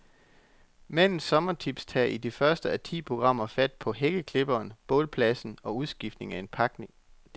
Mandens sommertips tager i det første af ti programmer fat på hækkeklipperen, bålpladsen og udskiftning af pakninger.